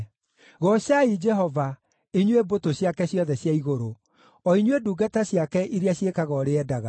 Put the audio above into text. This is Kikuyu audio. Goocai Jehova, inyuĩ mbũtũ ciake ciothe cia igũrũ, o inyuĩ ndungata ciake iria ciĩkaga ũrĩa endaga.